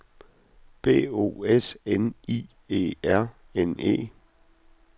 B O S N I E R N E